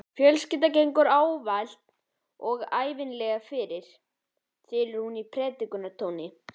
Fjölskyldan gengur ávallt og ævinlega fyrir, þylur hún í predikunartóni.